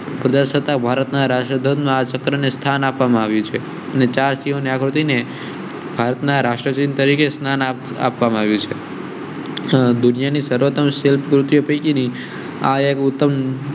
પ્રદર્શિત ભારતના રાષ્ટ્રધ્વજ ના ચક્ર ને સ્થાન આપવામાં આવ્યું છે. ને ચાર જના કૃતિ ને ભારતના રાષ્ટ્રપતિ તરીકે સ્થાન આપવામાં આવ્યું છે. દુનિયા ને સર્વોત્તમ શિલ્પ કૃતિઓ પેકીની ઉત્તમ